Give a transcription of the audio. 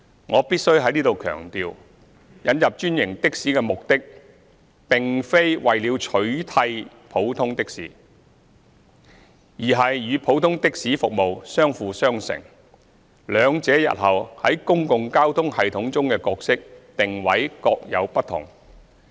我必須在此強調，引入專營的士的目的並非為了取締普通的士，而是與普通的士服務相輔相成，兩者日後在公共交通系統中的角色定位各有不同。